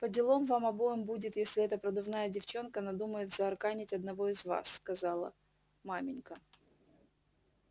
поделом вам обоим будет если эта продувная девчонка надумает заарканить одного из вас сказала маменька